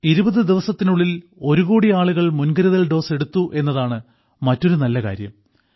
20 ദിവസത്തിനുള്ളിൽ ഒരു കോടി ആളുകൾ മുൻകരുതൽ ഡോസ് എടുത്തു എന്നതാണ് മറ്റൊരു നല്ല കാര്യം